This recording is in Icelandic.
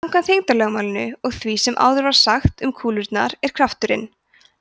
samkvæmt þyngdarlögmálinu og því sem áður var sagt um kúlurnar er krafturinn